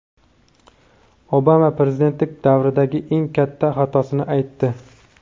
Obama prezidentlik davridagi eng katta xatosini aytdi.